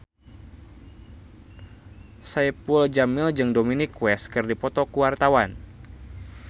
Saipul Jamil jeung Dominic West keur dipoto ku wartawan